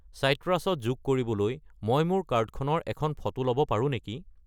চাইট্ৰাছ ত যোগ কৰিবলৈ মই মোৰ কাৰ্ডখনৰ এখন ফটো ল'ব পাৰোঁ নেকি?